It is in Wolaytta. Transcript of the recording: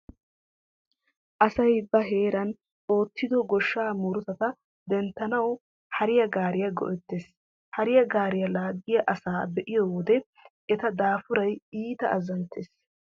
Asay ba heeran oottido goshshsaa murutata denttanawu hariya gaariya go'ettees. Hariya gaariya laaggiya asaa be'iyo wode eta daafuray iita azzanttees.